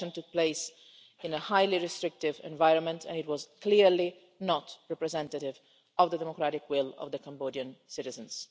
The election took place in a highly restrictive environment and it was clearly not representative of the democratic will of the Cambodian citizens.